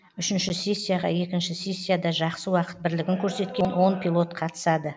үшінші сессияға екінші сессияда жақсы уақыт бірлігін көрсеткен он пилот қатысады